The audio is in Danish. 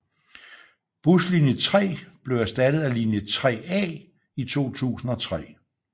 Buslinje 3 blev erstattet af linje 3A i 2003